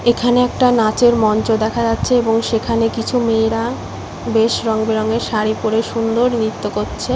এখানে একটা নাচের মঞ্চ দেখা যাচ্ছে এবং সেখানে কিছু মেয়েরা বেশ রং বেরঙের শাড়ি পড়ে সুন্দর নৃত্য করছে।